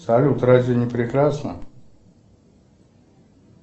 салют разве не прекрасно